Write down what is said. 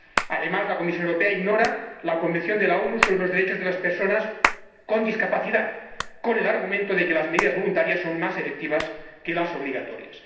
Además, la Comisión Europea ignora la Convención de las Naciones Unidas sobre los derechos de las personas con discapacidad, con el argumento de que las medidas voluntarias son más efectivas que las obligatorias.